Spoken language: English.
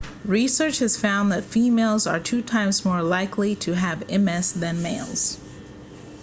research has found that females are two times more likely to have ms then males